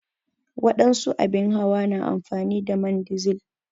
wadansu abin hawa na amfani da man dizil.